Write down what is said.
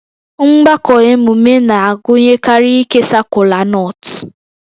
Mgbakọ emume na-agụnyekarị ikesa kolanut